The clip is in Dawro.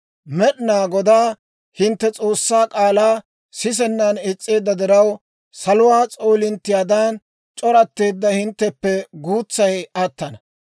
Med'inaa Godaa hintte S'oossaa k'aalaa sisennan is's'eedda diraw, saluwaa s'oolinttiyaadan c'oratteedda hintteppe guutsay attana.